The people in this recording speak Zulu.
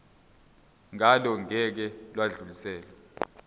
ngalo ngeke lwadluliselwa